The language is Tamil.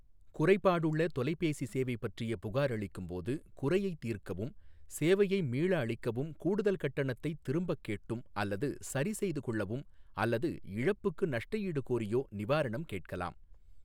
குறைபாடுள்ள தொலைபேசி சேவை பற்றிய புகார் அளிக்கும்போது குறையைத் தீர்க்கவும் சேவையை மீள அளிக்கவும் கூடுதல் கட்டணத்தை திரும்பக் கேட்டும் அல்லது சரிசெய்து கொள்ளவும் அல்லது இழப்புக்கு நஷ்டஈடு கோரியோ நிவாரணம் கேட்கலாம்.